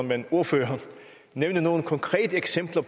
kan ordføreren nævne nogle konkrete eksempler